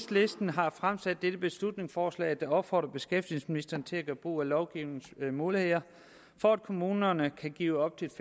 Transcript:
har fremsat dette beslutningsforslag der opfordrer beskæftigelsesministeren til at gøre brug af lovgivningens muligheder for at kommunerne kan give op til